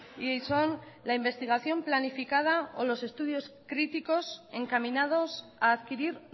y son la investigación planificada o los estudios críticos encaminados a adquirir